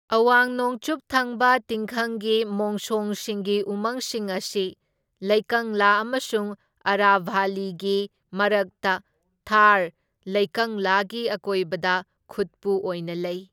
ꯑꯋꯥꯡ ꯅꯣꯡꯆꯨꯞ ꯊꯪꯕ ꯇꯤꯡꯈꯪꯒꯤ ꯃꯣꯡꯁꯣꯡꯁꯤꯡꯒꯤ ꯎꯃꯪꯁꯤꯡ ꯑꯁꯤ ꯂꯩꯀꯪꯂꯥ ꯑꯃꯁꯨꯡ ꯑꯔꯥꯚꯥꯂꯤꯒꯤ ꯃꯔꯛꯇ ꯊꯥꯔ ꯂꯩꯀꯪꯂꯥꯒꯤ ꯑꯀꯣꯏꯕꯗ ꯈꯨꯠꯄꯨ ꯑꯣꯏꯅ ꯂꯩ꯫